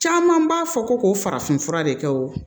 Caman b'a fɔ ko k'o farafin fura de kɛ wo